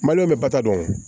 bɛ bato